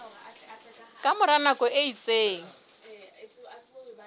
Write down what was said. ka mora nako e itseng